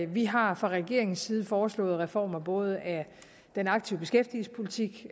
vi har fra regeringens side foreslået reformer af både den aktive beskæftigelsespolitik